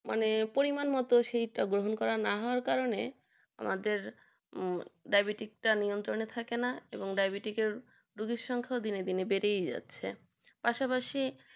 পরিমাণ মতো সেটা না গ্রহণ করার কারণে আমাদের ডাইবেটিস নিয়ন্ত্রিত থাকে না ডায়াবেটিসের রোগীর সংখ্যা দিনের দিন বেড়ে যাচ্ছে পাশাপাশি